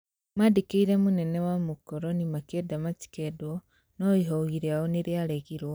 Mandĩkĩire mũnene wa mũkoroni makĩenda matĩkendwe, no ihoi rĩao nĩrĩaregirwe